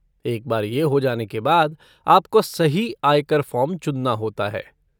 एक बार ये हो जाने के बाद आपको सही आय कर फ़ॉर्म चुनना होता है।